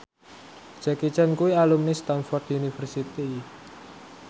Jackie Chan kuwi alumni Stamford University